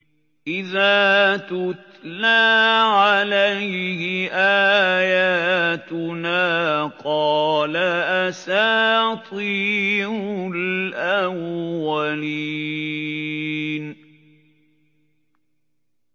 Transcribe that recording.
إِذَا تُتْلَىٰ عَلَيْهِ آيَاتُنَا قَالَ أَسَاطِيرُ الْأَوَّلِينَ